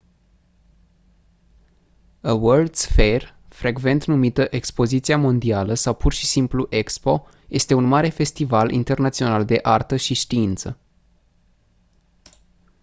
a world's fair frecvent numită expoziția mondială sau pur și simplu expo este un mare festival internațional de artă și știință